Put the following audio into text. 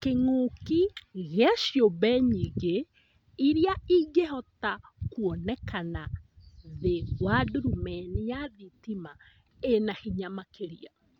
Kĩng'uki gĩa ciũmbe nyingĩ iria ĩngĩhota kwonekana thĩ wa ndurumeni ya thitima ĩna hinya makĩria